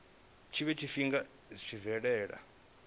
tshiwe tshifhinga zwi tshi bvelela